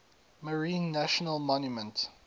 marine national monument